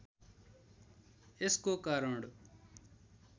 यसको कारण